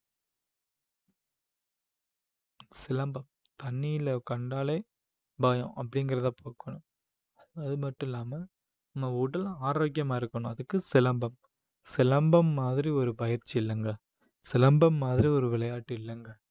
சிலம்பம் தண்ணியில கண்டாலே பயம் அப்படிங்கிறதை போக்கணும் அது மட்டும் இல்லாம நம்ம உடல் ஆரோக்கியமா இருக்கணும் அதுக்கு சிலம்பம் சிலம்பம் மாதிரி ஒரு பயிற்சி இல்லங்க சிலம்பம் மாதிரி ஒரு விளையாட்டு இல்லங்க